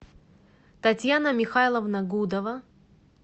татьяна михайловна гудова